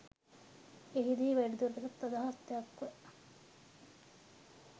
එහිදී වැඩිදුරටත් අදහස් දැක්ව